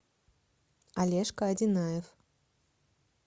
олежка одинаев